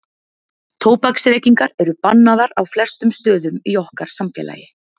tóbaksreykingar eru bannaðar á flestum stöðum í okkar samfélagi